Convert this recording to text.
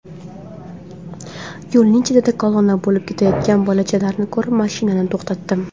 Yo‘lning chetida kolonna bo‘lib ketayotgan bolachalarni ko‘rib, mashinani to‘xtatdim.